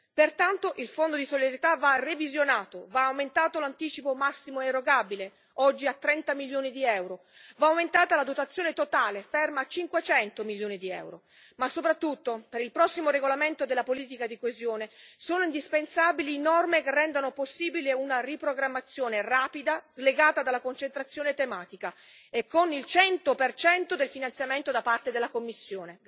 Pertanto, il Fondo di solidarietà va revisionato, va aumentato l'anticipo massimo erogabile oggi a 30 milioni di euro va aumentata la dotazione totale ferma a 500 milioni di euro ma soprattutto, per il prossimo regolamento della politica di coesione, sono indispensabili norme che rendano possibile una riprogrammazione rapida, slegata dalla concentrazione tematica, e con il 100 del finanziamento da parte della Commissione.